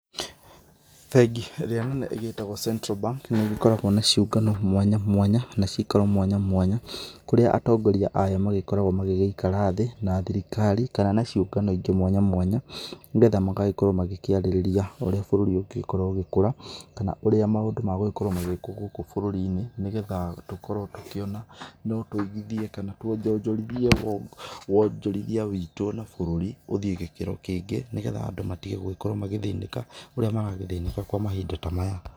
Bengi ĩrĩa nene ĩgĩtagwo Central Bank nĩ igĩkoragwo na ciũngano mwanya mwanya na cikaro mwanya mwanya ,kũrĩa atongoria ayo magĩkoragwo magĩgĩikara thĩ na thirikari kana na ciũngano ingĩ mwanya mwanya nĩgetha magagĩkorwo magĩkĩarĩrĩria ũrĩa bũrũri ũngĩgĩkorwo ũgĩkũra, kana ũrĩa maũndũ magũgĩkorwo magĩkwo gũkũ bũrũri-inĩ nĩgetha tũkorwo tũkĩona no tũigithie kana twonjonjorithie wonjoria witũ na bũrũri ũthiĩ gĩkĩro kĩngĩ nĩgetha andũ matige gũkorwo magĩthĩnĩka ũrĩa maragĩthĩnĩka kwa mahinda ta maya.